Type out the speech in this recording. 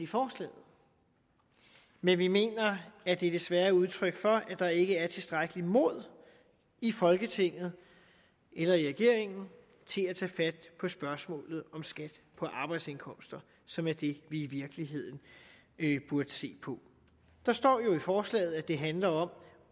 forslaget men vi mener at det desværre er udtryk for at der ikke er tilstrækkeligt mod i folketinget eller i regeringen til at tage fat på spørgsmålet om skat på arbejdsindkomster som er det vi i virkeligheden burde se på der står jo i forslaget at det handler om